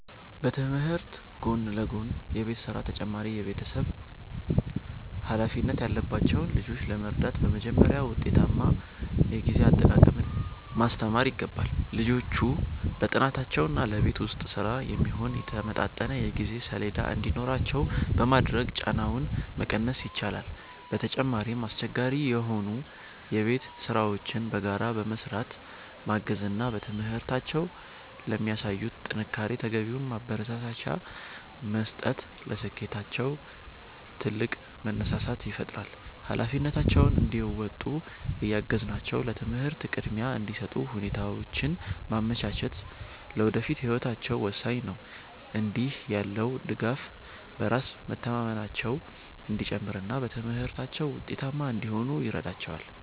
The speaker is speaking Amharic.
በትምህርት ጎን ለጎን የቤት ሥራና ተጨማሪ የቤተሰብ ኃላፊነት ያለባቸውን ልጆች ለመርዳት በመጀመሪያ ውጤታማ የጊዜ አጠቃቀምን ማስተማር ይገባል። ልጆቹ ለጥናታቸውና ለቤት ውስጥ ሥራ የሚሆን የተመጣጠነ የጊዜ ሰሌዳ እንዲኖራቸው በማድረግ ጫናቸውን መቀነስ ይቻላል። በተጨማሪም፣ አስቸጋሪ የሆኑ የቤት ሥራዎችን በጋራ በመሥራት ማገዝ እና በትምህርታቸው ለሚያሳዩት ጥንካሬ ተገቢውን ማበረታቻ መስጠት ለስኬታቸው ትልቅ መነሳሳት ይፈጥራል። ኃላፊነታቸውን እንዲወጡ እያገዝናቸው ለትምህርት ቅድሚያ እንዲሰጡ ሁኔታዎችን ማመቻቸት ለወደፊት ህይወታቸው ወሳኝ ነው። እንዲህ ያለው ድጋፍ በራስ መተማመናቸው እንዲጨምርና በትምህርታቸው ውጤታማ እንዲሆኑ ይረዳቸዋል።